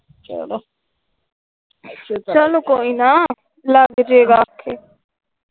ਚਲੋ ਚਲੋ ਕੋਈ ਨਾ ਲੱਗਜੇ ਗਾ ਆਖੇ ।